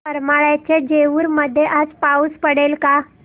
करमाळ्याच्या जेऊर मध्ये आज पाऊस पडेल का